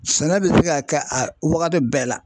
Sɛnɛ bɛ se ka kɛ a wagati bɛɛ la.